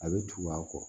A bɛ tugu a kɔ